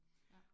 Ja